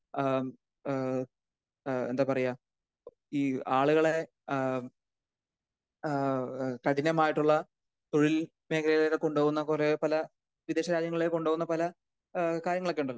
ഏഹ് ഏഹ് ഏഹ് എന്താ പറയാ ഈ ആളുകളെ ആഹ് ഹ്മ് ആഹ് കഠിനമായിട്ടുള്ള തൊഴിൽ മേഖലകളിൽ കൊണ്ട് പോകുന്ന കുറേ പല വിദേശ രാജ്യങ്ങളിലേക്ക് ഒക്കെ കൊണ്ട് പോകുന്ന പല കാര്യങ്ങളൊക്കെ ഉണ്ടല്ലോ.